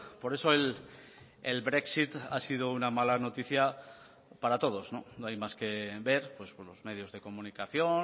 por eso el brexit ha sido una mala noticia para todos no hay más que ver pues los medios de comunicación